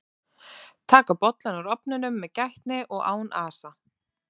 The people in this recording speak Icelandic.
taka bollann úr ofninum með gætni og án asa